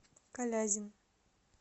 калязин